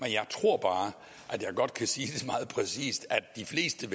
jeg tror bare at jeg godt kan sige meget præcist at de fleste